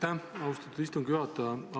Aitäh, austatud istungi juhataja!